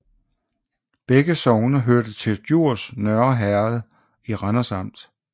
Begge sogne hørte til Djurs Nørre Herred i Randers Amt